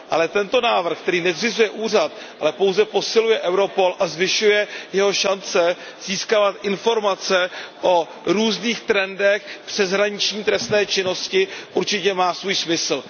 Ale tento návrh, který nezřizuje úřad, ale pouze posiluje Europol a zvyšuje jeho šance získávat informace o různých trendech přeshraniční trestné činnosti, určitě má svůj smysl.